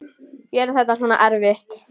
Gera þetta svona erfitt.